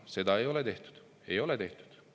Seda ei ole tehtud, ei ole tehtud.